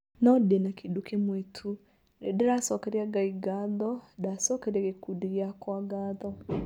"No ndĩ na kĩndũ kĩmwe tu , nĩndĩracokeria Ngai ngatho, ngacokeria gĩkundi gĩakwa ngatho